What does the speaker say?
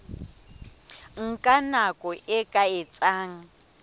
nka nako e ka etsang